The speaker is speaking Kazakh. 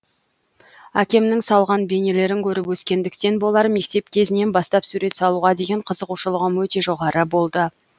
әкемнің салған бейнелерін көріп өскендіктен болар мектеп кезінен бастап сурет салуға деген қызығушылығым өте жоғары болды